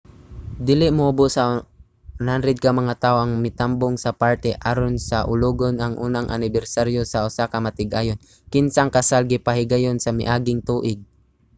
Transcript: dili muobos sa 100 ka mga tawo ang mitambong sa party aron saulogon ang unang anibersaryo sa usa ka magtiayon kinsang kasal gipahigayon sa miaging tuig